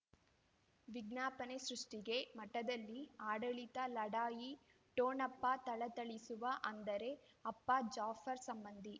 ವಿಜ್ಞಾಪನೆ ಸೃಷ್ಟಿಗೆ ಮಠದಲ್ಲಿ ಆಡಳಿತ ಲಢಾಯಿ ಠೊಣಪ ಥಳಥಳಿಸುವ ಅಂದರೆ ಅಪ್ಪ ಜಾಫರ್ ಸಂಬಂಧಿ